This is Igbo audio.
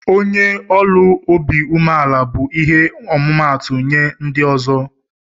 onye ọlụ ọbi umela bu ihe ọmụmatu nye ndi ozi ndi ọzọ.